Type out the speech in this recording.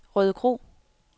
Rødekro